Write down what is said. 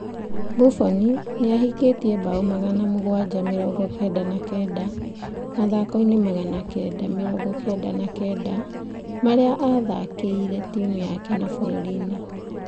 Buffon nĩ ahingĩte bao magana mũgwanja mĩrongo kenda na kenda. Mathako-inĩ magana kenda, mĩrongo kenda na kenda marĩa athakĩire timu yake na bũrũri-inĩ.